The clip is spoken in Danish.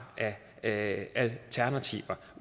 af alternativer